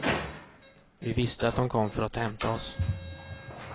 Vi visste att de kom för att hämta oss.